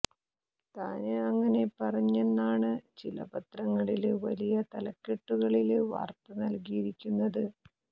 താന് അങ്ങനെ പറഞ്ഞെന്നാണ് ചില പത്രങ്ങളില് വലിയ തലക്കെട്ടുകളില് വാര്ത്ത നല്കിയിരിക്കുന്നത്